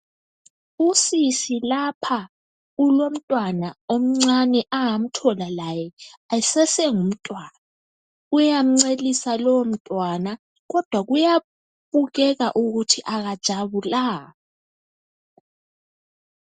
Usisi lapha ulomntwana omncane owamthola laye esase ngumntwana uyamunyisa lowo mntwana kodwa kuyabonakala ukuthi akathokozanga.